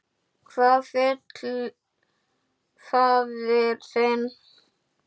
Hvað vill faðir þinn?